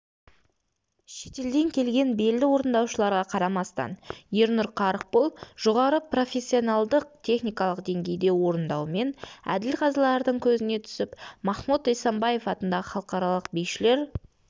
шетелден келген белді орындаушыларға қарамастан ернұр қарықбол жоғары профессионалдық техникалық деңгейде орындауымен әділ-қазылардың көзіне түсіп махмуд эсамбаев атындағы халықаралық бишілер